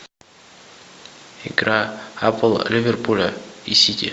игра апл ливерпуля и сити